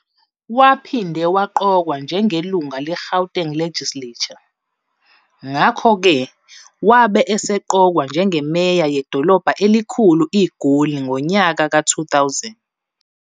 Waphinde waqokwa njenge lunga le Gauteng Legislature, ngakhoke wabe eseqokwa njenge meya yedolobha elikhulu iGoli ngonyaka ka 2000.